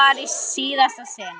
Það var í síðasta sinn.